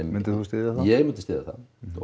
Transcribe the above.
myndir þú styðja það ég myndi styðja það